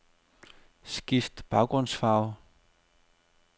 Skift baggrundsfarve.